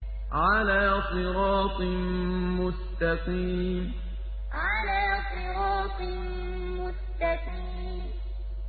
عَلَىٰ صِرَاطٍ مُّسْتَقِيمٍ عَلَىٰ صِرَاطٍ مُّسْتَقِيمٍ